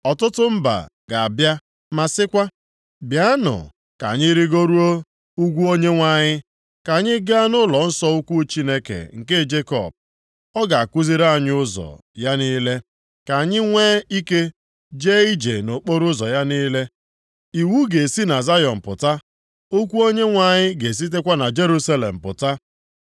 Ọtụtụ mba ga-abịa ma sịkwa, “Bịanụ, ka anyị rigoruo ugwu Onyenwe anyị, ka anyị gaa nʼụlọnsọ ukwu Chineke nke Jekọb. Ọ ga-akụziri anyị ụzọ + 4:2 Maọbụ, ụkpụrụ ya niile, ka anyị nwe ike jee ije nʼokporoụzọ ya niile.” Iwu ga-esi na Zayọn pụta, okwu Onyenwe anyị ga-esitekwa na Jerusalem pụta.